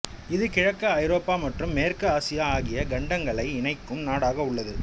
இது கிழக்கு ஐரோப்பா மற்றும் மேற்கு ஆசியா ஆகிய கண்டங்களை இணைக்கும் நாடாக உள்ளது